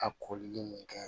A kolili mun kɛ